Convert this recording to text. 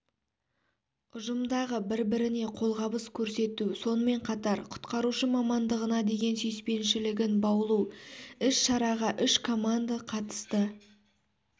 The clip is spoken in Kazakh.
ұжымдағы бірін-біріне қолғабыс көрсету сонымен қатар құтқарушы мамандығына деген сүйіспеншілігін баулу іс-шараға үш команды қатысты